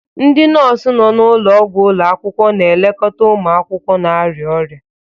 Ndị nọọsụ nọ n'ụlọọgwụ ụlọ akwụkwọ na-elekọta ụmụ akwụkwọ na-arịa ọrịa.